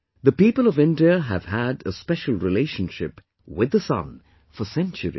The people of India have had a special relationship with the Sun for centuries